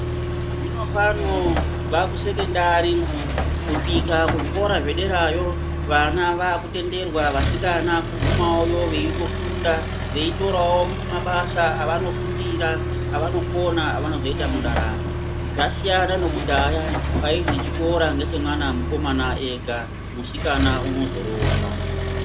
Zvino pano kubva kusekondari kusvika kuzvikora zvederayo vana vakutenderwa vasikana kugumayowo veitofunda veitorawo mabasa avanofundira avanokona avanozoita mundaramo zvasiyana nekudhaya kwaizi chikora ngechemwana mukomana ega musikana unozoroorwa.